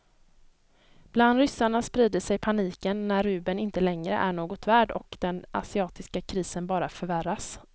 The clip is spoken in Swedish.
Bland ryssarna sprider sig paniken när rubeln inte längre är något värd och den asiatiska krisen bara förvärras.